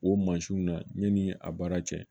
O mansinw na yanni a baara cɛ